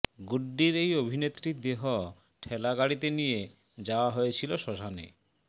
গুড্ডির এই অভিনেত্রীর দেহ ঠেলাগাড়িতে নিয়ে যাওয়া হয়েছিল শ্মশানে